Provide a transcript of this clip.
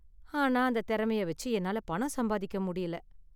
ஆனா அந்த தெறமைய வெச்சு என்னால பணம் சம்பாதிக்க முடியல.